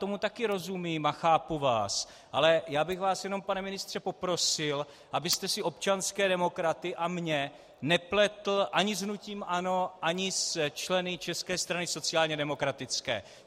Tomu taky rozumím a chápu vás, ale já bych vás jenom, pane ministře, poprosil, abyste si občanské demokraty a mne nepletl ani s hnutím ANO ani se členy České strany sociálně demokratické.